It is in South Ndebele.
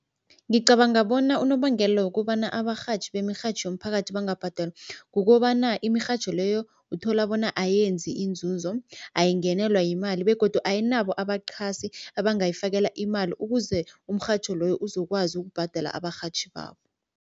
Ngicabanga bona unobangela wokobana abarhatjhi bemirhatjho yomphakathi bangabhadelwa kukobana imirhatjho leyo uthola bona ayenzi inzuzo, ayingenelwa yimali begodu ayinabo abaqhasi abangayifakela imali ukuze umrhatjho loyo uzokwazi ukubhadela abarhatjhi babo.